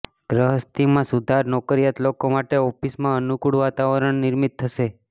ગ્રહસ્થિતિમાં સુધાર નોકરીયાત લોકો માટે ઑફિસમાં અનૂકૂળ વાતાવરણ નિર્મિત થશે